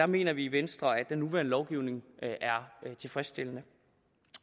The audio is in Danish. mener vi i venstre at den nuværende lovgivning er tilfredsstillende